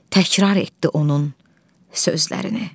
Təkrar etdi onun sözlərini.